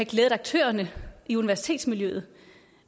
glædet aktørerne i universitetsmiljøet